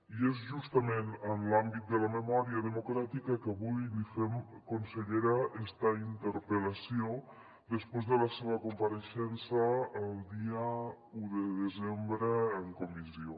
i és justament en l’àmbit de la memòria democràtica que avui li fem consellera esta interpel·lació després de la seva compareixença el dia un de desembre en comissió